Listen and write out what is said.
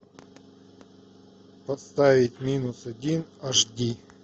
поставить минус один аш ди